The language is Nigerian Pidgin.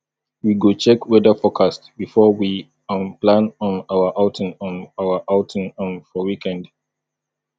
we go check weather forecast before we um plan um our outing um our outing um for weekend